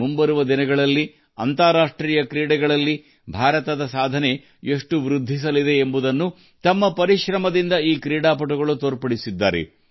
ಮುಂಬರುವ ದಿನಗಳಲ್ಲಿ ಅಂತಾರಾಷ್ಟ್ರೀಯ ಕ್ರೀಡಾ ಕ್ಷೇತ್ರದಲ್ಲಿ ಭಾರತದ ಘನತೆ ಎಷ್ಟರಮಟ್ಟಿಗೆ ಏರಲಿದೆ ಎಂಬುದನ್ನು ಈ ಆಟಗಾರರು ತಮ್ಮ ಕಠಿಣ ಪರಿಶ್ರಮದಿಂದ ಸಾಬೀತು ಮಾಡಿದ್ದಾರೆ